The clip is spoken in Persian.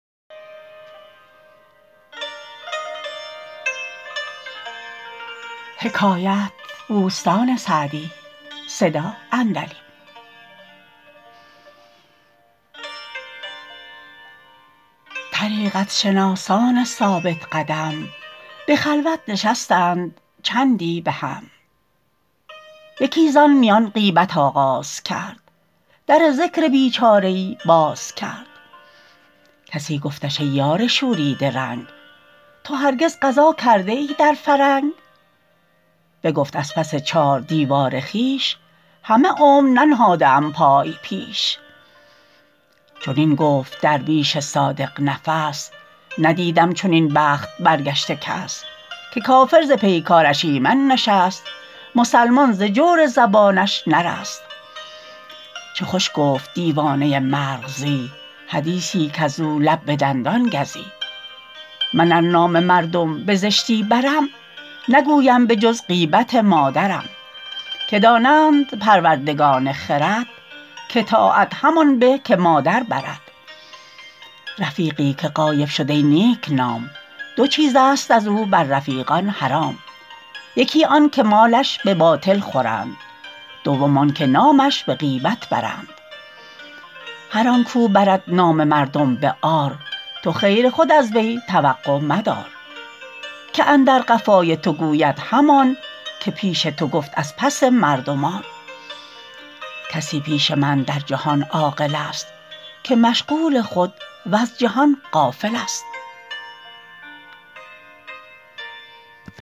طریقت شناسان ثابت قدم به خلوت نشستند چندی به هم یکی زان میان غیبت آغاز کرد در ذکر بیچاره ای باز کرد کسی گفتش ای یار شوریده رنگ تو هرگز غزا کرده ای در فرنگ بگفت از پس چار دیوار خویش همه عمر ننهاده ام پای پیش چنین گفت درویش صادق نفس ندیدم چنین بخت برگشته کس که کافر ز پیکارش ایمن نشست مسلمان ز جور زبانش نرست چه خوش گفت دیوانه مرغزی حدیثی کز او لب به دندان گزی من ار نام مردم بزشتی برم نگویم به جز غیبت مادرم که دانند پروردگان خرد که طاعت همان به که مادر برد رفیقی که غایب شد ای نیک نام دو چیزست از او بر رفیقان حرام یکی آن که مالش به باطل خورند دوم آن که نامش به غیبت برند هر آن کو برد نام مردم به عار تو خیر خود از وی توقع مدار که اندر قفای تو گوید همان که پیش تو گفت از پس مردمان کسی پیش من در جهان عاقل است که مشغول خود وز جهان غافل است